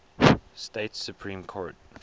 states supreme court